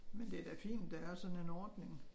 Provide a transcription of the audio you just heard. Men det da fint der er sådan en ordning